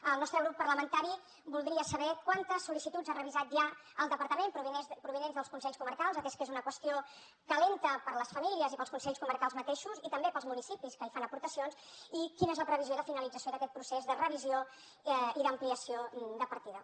el nostre grup parlamentari voldria saber quantes sollicituds ha revisat ja el departament provinents dels consells comarcals atès que és una qüestió calenta per a les famílies i per als consells comarcals mateixos i també per als municipis que hi fan aportacions i quina és la previsió de finalització d’aquest procés de revisió i d’ampliació de partida